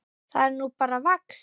Það er nú bara vax.